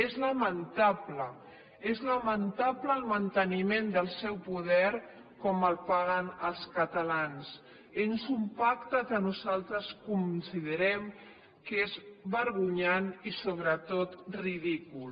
és lamentable és lamentable el manteniment del seu poder com el paguen els catalans és un pacte que nosaltres considerem que és vergonyant i sobretot ridícul